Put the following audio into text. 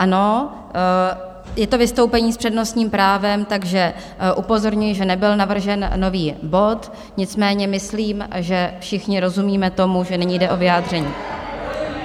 Ano, je to vystoupení s přednostním právem, takže upozorňuji, že nebyl navržen nový bod, nicméně myslím, že všichni rozumíme tomu, že nyní jde o vyjádření.